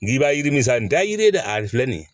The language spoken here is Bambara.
N k'i b'a yiri san nin da yiri ye dɛ a filɛ nin ye